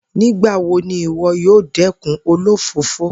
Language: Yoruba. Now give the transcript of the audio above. Nigbawo ni iwọ yoo dẹkun olofofo?